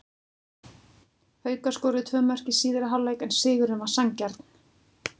Haukar skoruðu tvö mörk í síðari hálfleik en sigurinn var sanngjarn.